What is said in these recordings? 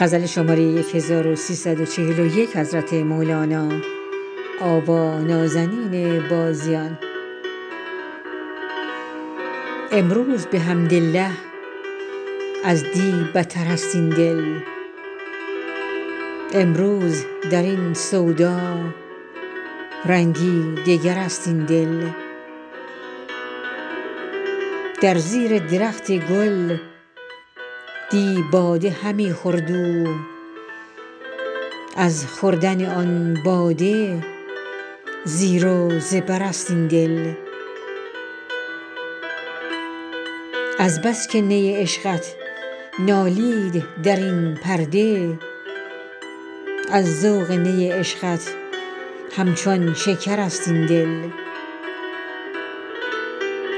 امروز بحمدالله از دی بترست این دل امروز در این سودا رنگی دگرست این دل در زیر درخت گل دی باده همی خورد او از خوردن آن باده زیر و زبرست این دل از بس که نی عشقت نالید در این پرده از ذوق نی عشقت همچون شکرست این دل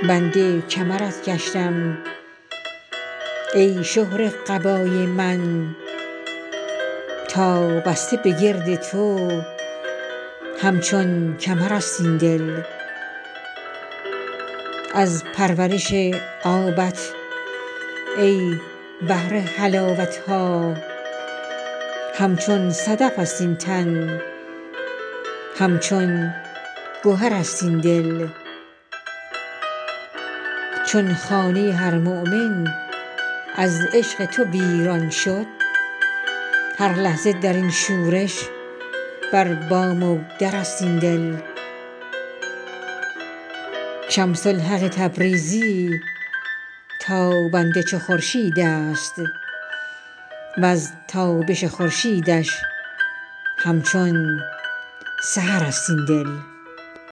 بند کمرت گشتم ای شهره قبای من تا بسته بگرد تو همچون کمرست این دل از پرورش آبت ای بحر حلاوت ها همچون صدفست این تن همچون گهرست این دل چون خانه هر مؤمن از عشق تو ویران شد هر لحظه در این شورش بر بام و درست این دل شمس الحق تبریزی تابنده چو خورشیدست وز تابش خورشیدش همچون سحرست این دل